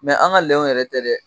Mɛ an ka lɛw yɛrɛ tɛ dɛ!